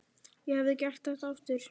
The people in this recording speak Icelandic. Ég hefði gert þetta aftur.